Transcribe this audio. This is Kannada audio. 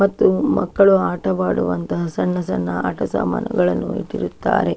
ಮತ್ತು ಮಕ್ಕಳು ಆಟ ಆಡುವಂಥ ಸಣ್ಣ ಸಣ್ಣ ಆಟ ಸಾಮಾನುಗಳನ್ನು ಇಟ್ಟಿರುತ್ತಾರೆ.